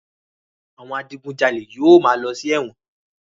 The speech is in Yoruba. Àwọn adigunjalè yóò máa lọ sí ẹ̀wọ̀n.